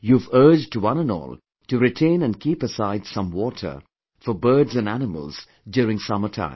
You have urged one and all to retain and keep aside some water for birds & animals, during summer time